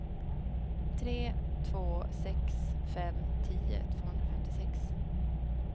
tre två sex fem tio tvåhundrafemtiosex